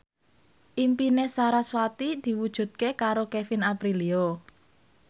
impine sarasvati diwujudke karo Kevin Aprilio